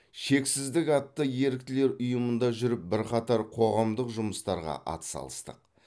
шексіздік атты ерікілер ұйымында жүріп бірқатар қоғамдық жұмыстарға атсалыстық